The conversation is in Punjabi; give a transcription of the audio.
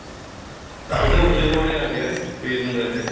ਉਹ ਤਾਂ ਉੰਨੇ ਕੋਲ ਆਂ ਗਿਆ ਪੀਰ ਨਿਗਾਹੇ